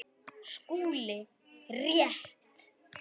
SKÚLI: Rétt!